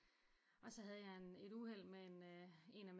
Og så havde jeg en et uheld med en af